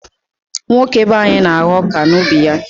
Nwoke be anyị na-agha ọka n'ubi ya.